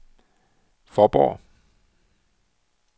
Fåborg